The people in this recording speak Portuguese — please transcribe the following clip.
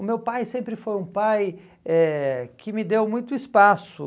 O meu pai sempre foi um pai eh que me deu muito espaço.